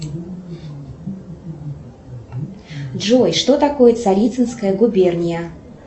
джой что такое царицынская губерния